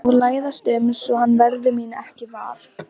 Og læðast um svo hann verði mín ekki var.